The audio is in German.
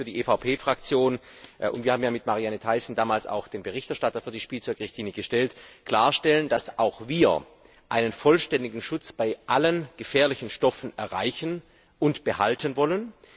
Deswegen möchte ich für die EVP Fraktion wir haben mit Marianne Thyssen damals auch den Berichterstatter für die Spielzeug Richtlinie gestellt klarstellen, dass auch wir einen vollständigen Schutz bei allen gefährlichen Stoffen erreichen und behalten wollen.